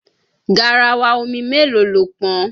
Garawa omi mélòó lo pọn?